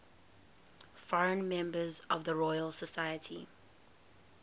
foreign members of the royal society